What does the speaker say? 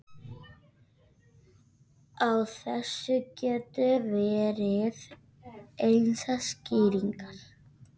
Á þessu geta verið ýmsar skýringar.